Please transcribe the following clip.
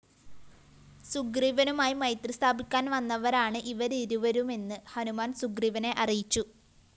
സുഗ്രീവനുമായി മൈത്രി സ്ഥാപിക്കാന്‍ വന്നവരാണ് ഇവരിരുവരുമെന്ന് ഹനുമാന്‍ സുഗ്രീവനെ അറിയിച്ചു